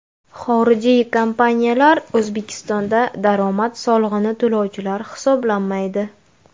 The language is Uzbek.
Xorijiy kompaniyalar O‘zbekistonda daromad solig‘ini to‘lovchilar hisoblanmaydi.